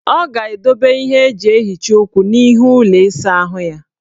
Ọ ga-edobe ihe eji ehicha ukwu n' ihu ụlọ isaahụ ya.